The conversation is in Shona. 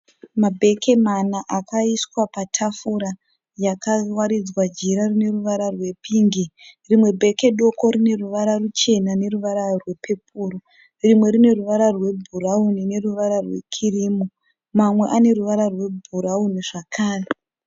Mabheke mana akaiswa patafura yakawaridzwa jira rine ruvara rwepingi. Rimwe bheke doko rine ruvara ruchena neruvara wepepuro. Rimwe rine ruvara rwebhurauni neruvara rwekirimu. Mamwe ane ruvara rwebhurauni zvakare.